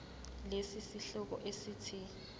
lesi sihloko esithi